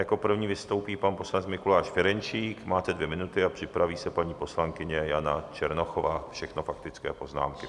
Jako první vystoupí pan poslanec Mikuláš Ferjenčík, máte dvě minuty, a připraví se paní poslankyně Jana Černochová, všechno faktické poznámky.